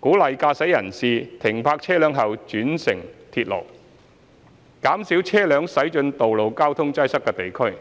鼓勵駕駛人士停泊車輛後轉乘鐵路，減少車輛駛進道路交通擠塞的地區。